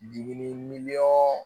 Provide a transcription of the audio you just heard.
Dimi miliyɔn